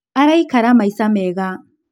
Araikara maica mega